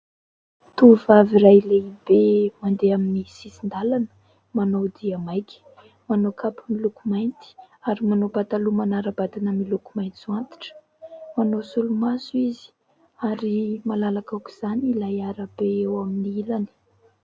Tovovavy iray lehibe mandeha amin'ny sisin-dalana manao dia maika. Manao kapa miloko mainty ary manao pataloha manara-batana miloko maitso antitra. Manao solomaso izy ary malalaka aoka izany ilay arabe ao amin'ny ilany.